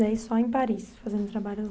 Daí só em Paris, fazendo trabalhos